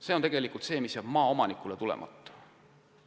See on tulu, mis jääb maaomanikul saamata.